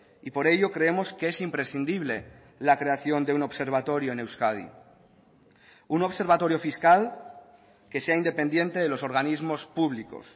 y por ello creemos que es imprescindible la creación de un observatorio en euskadi un observatorio fiscal que sea independiente de los organismos públicos